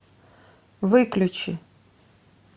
выключи